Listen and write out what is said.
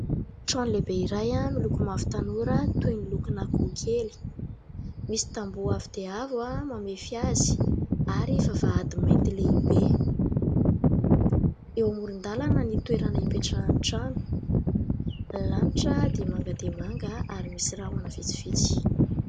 Trano lehibe iray miloko mavo tanora toy ny lokon' ankoho kely, misy tamboho avo dia avo mamefy azy ary vavahady mainty lehibe. Eo amoron-dalana ny toerana ipetrahan'ny trano, ny lanitra dia manga dia manga ary misy rahona vitsivitsy.